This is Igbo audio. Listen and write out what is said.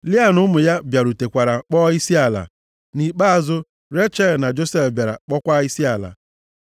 Lịa na ụmụ ya bịarutekwara kpọọ isiala, nʼikpeazụ Rechel na Josef bịara kpọọkwa isiala.